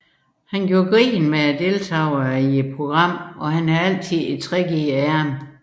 Han gjorde grin med deltagerne i programmet og havde altid et trick i ærmet